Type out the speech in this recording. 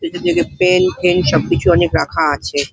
ভিতর দিকে pen fan সবকিছু অনেক রাখা আছে ।